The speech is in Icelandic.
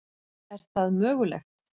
Er það mögulegt?